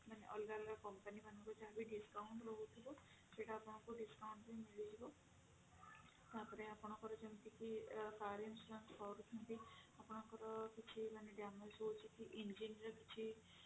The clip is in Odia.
ମାନେ ଅଲଗା ଅଲଗା company ମାନଙ୍କୁ ଯାହା ବି discount ରହୁଥିବ ସେଇଟା ଆପଣଙ୍କୁ discount ବି ମିଳିଯିବ ତାପରେ ଆପଣଙ୍କୁ ଯେମିତିକି car insurance କରୁଛନ୍ତି ଆପଣଙ୍କର କିଛି ମାନେ damage ରହୁଛି କି engine ର କିଛି